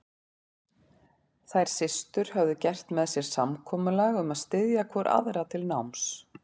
Þær systur höfðu gert með sér samkomulag um að styðja hvor aðra til náms.